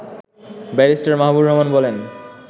barrister Mahbubur Rahman বলেন